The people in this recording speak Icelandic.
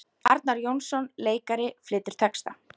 Arnar Jónsson leikari flytur texta.